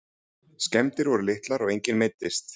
Skemmdir voru litlar og enginn meiddist